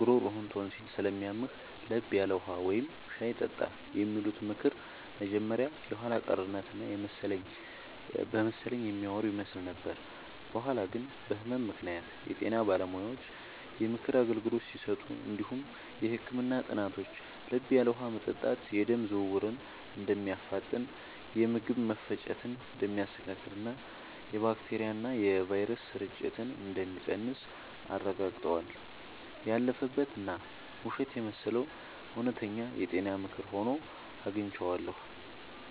ጉሮሮህን ቶንሲል ስለሚያምህ፤ ለብ ያለ ውሃ ወይም ሻይ ጠጣ” የሚሉት ምክር መጀመሪያ ላይ የኋላ ቀርነት እና በመሰለኝ የሚያወሩ ይመስል ነበር። በኋላ ግን በህመም ምክንያት የጤና ባለሙያዎች የምክር አገልግሎት ሲሰጡ እንዲሁም የህክምና ጥናቶች ለብ ያለ ውሃ መጠጣት የደም ዝውውርን እንደሚያፋጥን፣ የምግብ መፈጨትን እንደሚያስተካክልና የባክቴሪያና ቫይረስ ስርጭትን እንደሚቀንስ አረጋግጠዋል። ያለፈበት እና ውሸት የመሰለው እውነተኛ የጤና ምክር ሆኖ አግኝቼዋለሁ።